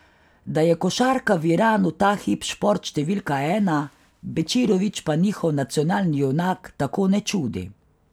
Da je košarka v Iranu ta hip šport številka ena, Bečirović pa njihov nacionalni junak tako ne čudi.